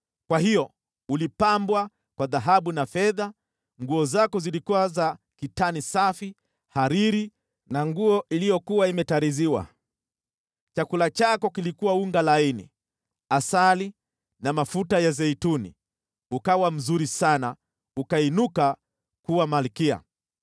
Kwa hiyo ulipambwa kwa dhahabu na fedha, nguo zako zilikuwa za kitani safi, hariri na nguo iliyokuwa imetariziwa. Chakula chako kilikuwa unga laini, asali na mafuta ya zeituni. Ukawa mzuri sana ukainuka kuwa malkia.